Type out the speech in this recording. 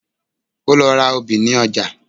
Ó lọ ra obì ní ọjà